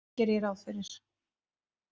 Geri ég ráð fyrir.